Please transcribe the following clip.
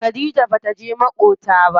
Khadija bata je maƙota ba.